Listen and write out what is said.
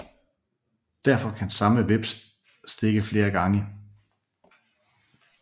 Derfor kan samme hveps stikke flere gange